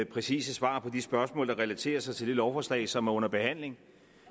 præcise svar på de spørgsmål der relaterer sig til det lovforslag som er under behandling